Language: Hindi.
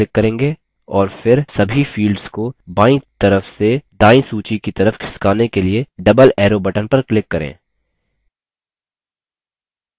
और फिर सभी fields को बायीं तरफ से दायीं सूची की तरफ खिसकाने के लिए double arrow button पर click करें